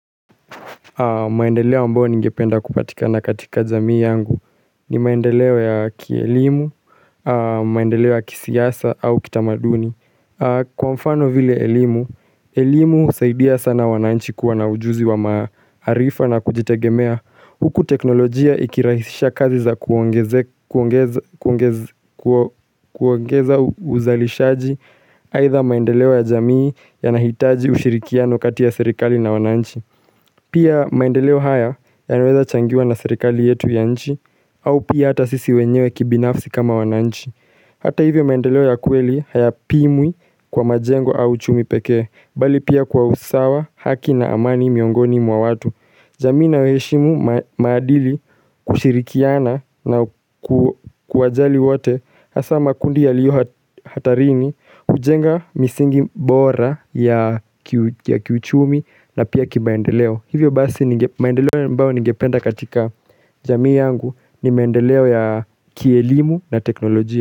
Maendeleo ambayo ningependa kupatikana katika jamii yangu ni maendeleo ya kielimu, maendeleo ya kisiasa au kitamaduni. Kwa mfano vile elimu, elimu husaidia sana wananchi kuwa na ujuzi wa maarifa na kujitegemea. Huku teknolojia ikirahisisha kazi za kuongeza uzalishaji aidha maendeleo ya jamii yanahitaji ushirikiano katia serikali na wananchi. Pia maendeleo haya yanaweza changiwa na serikali yetu ya nchi au pia hata sisi wenyewe kibinafsi kama wananchi Hata hivyo maendeleo ya kweli hayapimwi kwa majengo au uchumi pekee Bali pia kwa usawa haki na amani miongoni mwa watu jamii inayoheshimu maadili kushirikiana na kuwajali wote Hasa makundi yaliyo hatarini kujenga misingi mbora ya kiuchumi na pia kimaendeleo Hivyo basi maendeleo ambao ningependa katika jamii yangu ni maendeleo ya kielimu na teknolojia.